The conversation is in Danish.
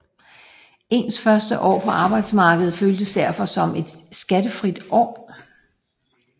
Ens første år på arbejdsmarkedet føltes derfor som et skattefrit år